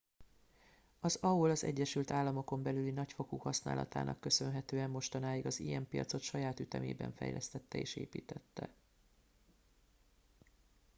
az aol az egyesült államokon belüli nagyfokú használatának köszönhetően mostanáig az im piacot saját ütemében fejlesztette és építette